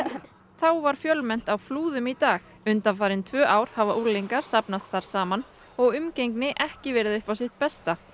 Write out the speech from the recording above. þá var fjölmennt á Flúðum í dag undanfarin tvö ár hafa unglingar safnast þar saman og umgengni ekki verið upp á hið besta